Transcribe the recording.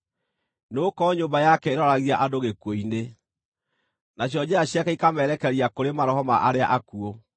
Nĩgũkorwo nyũmba yake ĩroragia andũ gĩkuũ-inĩ, nacio njĩra ciake ikamerekeria kũrĩ maroho ma arĩa akuũ.